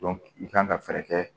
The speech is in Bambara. i kan ka fɛɛrɛ kɛ